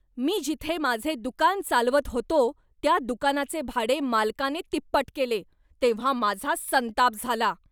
मी जिथे माझे दुकान चालवत होतो त्या दुकानाचे भाडे मालकाने तिप्पट केले तेव्हा माझा संताप झाला.